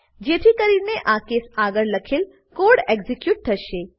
જેથી કરીને આ કેસ આગળ લખેલ કોડ એક્ઝીક્યુટ થશે